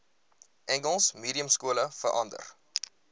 engels mediumskole verander